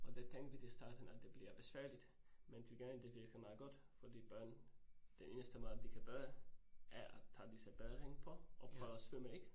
Og det tænkte vi det i starten, at det bliver besværligt, men til gengæld det virkede meget godt fordi børn, den eneste måde, at de kan bade er, at tage disse badevinger på og prøve at svømme ik?